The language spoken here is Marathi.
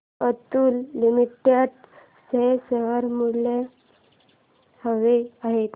अतुल लिमिटेड चे शेअर्स मला हवे आहेत